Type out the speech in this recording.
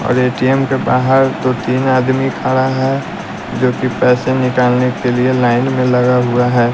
और A_ T_ M के बाहर तो तीन आदमी खड़ा है जोकि पैसे निकालने के लिए लाइन में लगा हुआ है।